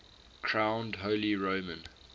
crowned holy roman